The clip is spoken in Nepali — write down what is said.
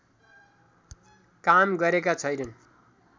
काम गरेका छैनन्